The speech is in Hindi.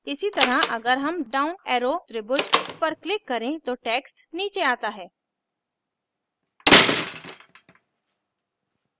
इसी तरह अगर हम down arrow त्रिभुज पर click करें तो text नीचे आता है